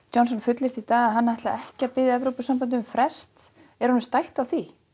Johnson fullyrti í dag að hann ætlaði ekki að biðja Evrópusambandið um frest er honum stætt á því